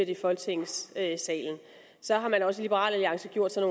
i folketingssalen så har man også i liberal alliance gjort sig